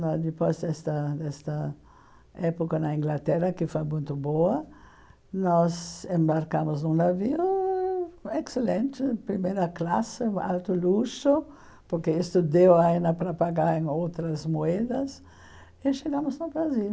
Na depois desta desta época na Inglaterra, que foi muito boa, nós embarcamos num navio excelente, primeira classe, alto luxo, porque isto deu ainda para pagar em outras moedas, e chegamos no Brasil.